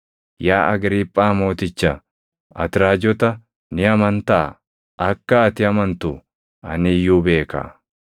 Yaa Agriiphaa Mooticha, ati raajota ni amantaa? Akka ati amantu ani iyyuu beeka.”